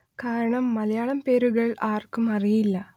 കാരണം മലയാളം പേരുകൾ ആർക്കും അറിയില്ല